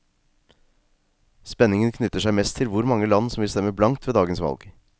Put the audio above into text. Spenningen knytter seg mest til hvor mange land som vil stemme blankt ved dagens valg.